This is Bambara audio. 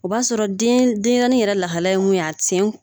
O b'a sɔrɔ den denɲɛrɛnin yɛrɛ lahala ye mun ye a sen